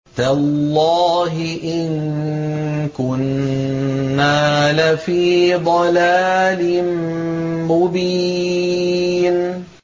تَاللَّهِ إِن كُنَّا لَفِي ضَلَالٍ مُّبِينٍ